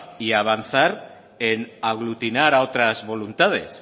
y avanzar en aglutinar a otras voluntades